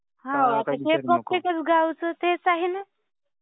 हो. ते प्रत्येकच गावचं तेच आहे ना.